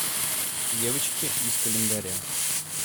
девочки из календаря